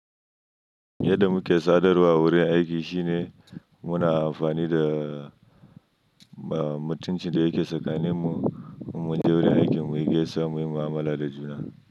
Yadda muke sadarwa wurin aiki shine muna amfani da mutuncin da yake tsakaninmu mun je wurin aikin muyi gesuwa muyi mu'amala da juna.